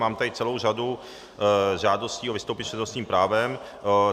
Mám tady celou řadu žádostí o vystoupení s přednostním právem.